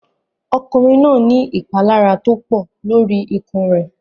Ọkùnrin náà ní ìpalára tó pọ̀ lórí ikùn rẹ̀.